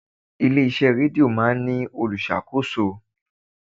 Ilé iṣẹ́ rédíò máa ń ní olùṣàkóso.